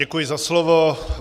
Děkuji za slovo.